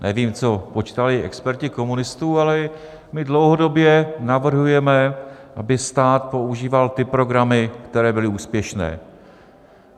Nevím, co počítali experti komunistů, ale my dlouhodobě navrhujeme, aby stát používal ty programy, které byly úspěšné.